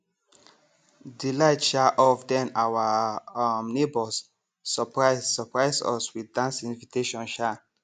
the light um off then our um neighbors surprise surprise us with dance invitation um